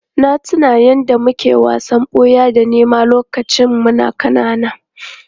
Na tuna yadda muke wasan ɓuya da nema lokacin muna ƙanana.